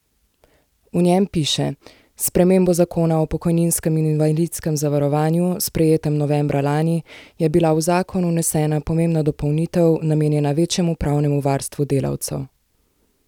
V njem piše: "S spremembo zakona o pokojninskem in invalidskem zavarovanju, sprejetem novembra lani, je bila v zakon vnesena pomembna dopolnitev, namenjena večjemu pravnemu varstvu delavcev.